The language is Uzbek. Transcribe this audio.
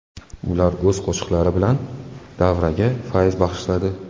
Ular o‘z qo‘shiqlari bilan davraga fayz bag‘ishladi.